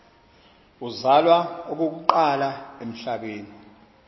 uzalwa okokuqala emhlabeni